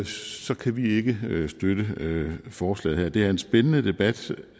så kan vi ikke støtte forslaget her det er en spændende debat